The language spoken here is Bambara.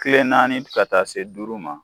Kile naani ka taa se duuru ma